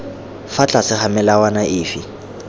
fa tlase ga melawana efe